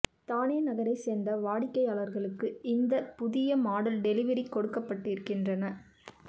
தானே நகரை சேர்ந்த வாடிக்கையாளர்களுக்கு இந்த புதிய மாடல் டெலிவிரி கொடுக்கப்பட்டிருக்கின்றன